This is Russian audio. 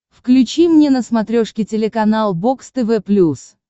включи мне на смотрешке телеканал бокс тв плюс